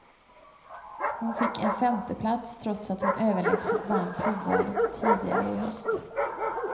Hon fick en femteplats trots att hon överlägset vann provvalet tidigare i höst.